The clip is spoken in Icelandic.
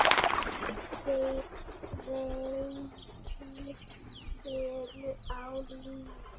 Tveir feður eru á lífi.